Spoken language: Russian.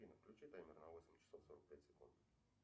афина включи таймер на восемь часов сорок пять секунд